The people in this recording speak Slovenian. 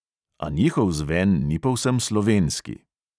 A njihov zven ni povsem slovenski.